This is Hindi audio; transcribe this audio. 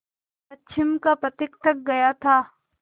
पश्चिम का पथिक थक गया था